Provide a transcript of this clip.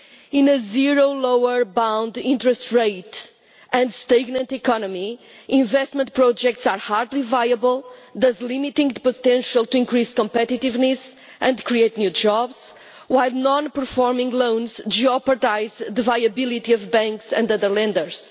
In a zero lower bound interest rate and stagnant economy, investment projects are hardly viable, thus limiting the potential to increase competitiveness and create new jobs, while non performing loans jeopardise the viability of banks and other lenders.